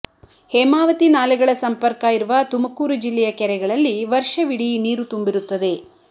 ಹೇಮಾವತಿ ನಾಲೆಗಳ ಸಂಪರ್ಕ ಇರುವ ತುಮಕೂರು ಜಿಲ್ಲೆಯ ಕೆರೆಗಳಲ್ಲಿ ವರ್ಷವಿಡೀ ನೀರು ತುಂಬಿರುತ್ತದೆ